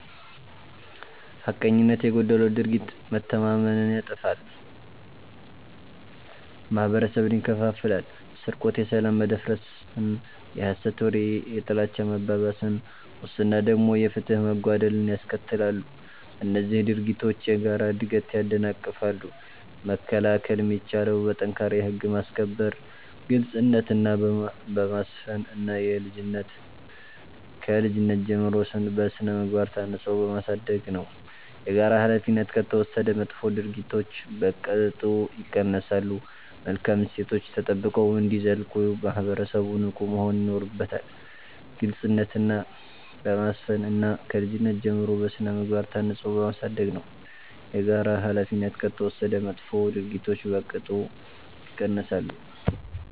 ሐቀኝነት የጎደለው ድርጊት መተማመንን ያጠፋል፤ ማህበረሰብን ይከፋፍላል። ስርቆት የሰላም መደፍረስን፣ የሐሰት ወሬ የጥላቻ መባባስን፣ ሙስና ደግሞ የፍትህ መጓደልን ያስከትላሉ። እነዚህ ድርጊቶች የጋራ እድገትን ያደናቅፋሉ። መከላከል የሚቻለው በጠንካራ የህግ ማስከበር፣ ግልጽነትን በማስፈን እና ከልጅነት ጀምሮ በሥነ-ምግባር ታንጾ በማሳደግ ነው። የጋራ ኃላፊነት ከተወሰደ መጥፎ ድርጊቶች በቅጡ ይቀንሳሉ። መልካም እሴቶች ተጠብቀው እንዲዘልቁ ማህበረሰቡ ንቁ መሆን ይኖርበታል። ግልጽነትን በማስፈን እና ከልጅነት ጀምሮ በሥነ-ምግባር ታንጾ በማሳደግ ነው። የጋራ ኃላፊነት ከተወሰደ መጥፎ ድርጊቶች በቅጡ ይቀንሳሉ።